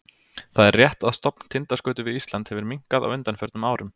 Það er rétt að stofn tindaskötu við Ísland hefur minnkað á undanförnum árum.